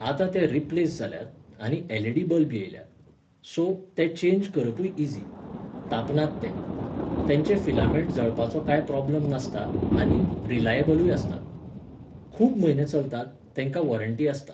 आतां ते रिप्लेस जाल्यात आनी एल.इ.डी. बल्ब येयल्यात. सो, ते चेन्ज करपूय इझी. तापनात ते, तेंचे फिलामेंट जळपाचो कांय प्रोब्लम नासता आनी रिलाएबलूय आसतात. खूब म्हयने चलतात, तेंकां वॉरण्टी आसता.